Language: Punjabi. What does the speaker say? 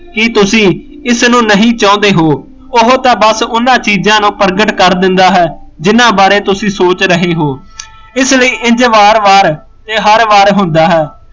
ਕੀ ਤੁਸੀਂ ਇਸ ਨੂੰ ਨਹੀਂ ਚਾਹੁੰਦੇ ਹੋ ਉਹ ਤਾਂ ਬਸ ਉਹਨਾਂ ਚੀਜ਼ਾਂ ਨੂੰ ਪ੍ਰਗਟ ਕਰ ਦਿੰਦਾ ਹੈ ਜਿਹਨਾਂ ਬਾਰੇ ਤੁਸੀਂ ਸੋਚ ਰਹੇ ਹੋ ਇਸ ਲਈ ਇੰਜ ਵਾਰ ਵਾਰ ਇਹ ਹਰ ਵਾਰ ਹੁੰਦਾ ਹੈ